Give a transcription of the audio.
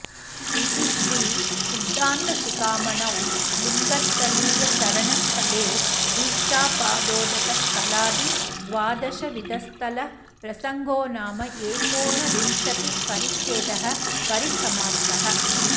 इति श्री सिद्धान्त शिखामणौ लिङ्गस्थलीय शरणस्थले दीक्षापादोदक स्थलादि द्वादशविधस्थल प्रसङ्गोनाम एकोनविंशति परिच्छेदः परिसमाप्तः